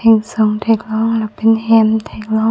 Singning along thek long lapen hem thek long.